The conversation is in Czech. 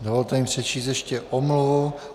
Dovolte mi přečíst ještě omluvu.